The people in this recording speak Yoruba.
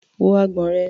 Wo agbọ̀n rẹ̀.